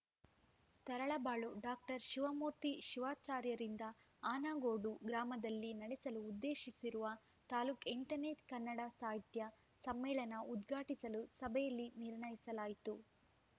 Taralabalu doctor Shivamurthy ಶಿವಾಚಾರ್ಯರಿಂದ ಆನಗೋಡು ಗ್ರಾಮದಲ್ಲಿ ನಡೆಸಲು ಉದ್ದೇಶಿಸಿರುವ ತಾಲೂಕ್ ಎಂಟನೇ ಕನ್ನಡ ಸಾಹಿತ್ಯ ಸಮ್ಮೇಳನ ಉದ್ಘಾಟಿಸಲು ಸಭೆಯಲ್ಲಿ ನಿರ್ಣಯಿಸಲಾಯಿತು